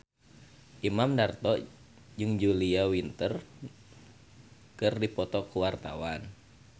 Imam Darto jeung Julia Winter keur dipoto ku wartawan